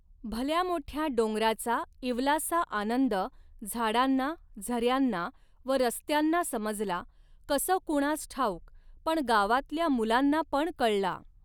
भल्यामोठया डोंगराचा इवलासा आनंद झाडांना, झ यांना व रस्त्यांना समजला, कसं कुणास ठाऊक, पण गावातल्या मुलांना पण कळला.